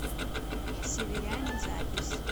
северяне запись